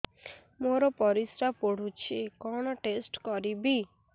ମୋର ପରିସ୍ରା ପୋଡୁଛି କଣ ଟେଷ୍ଟ କରିବି